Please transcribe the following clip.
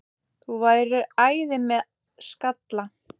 Þú værir æði með skalla!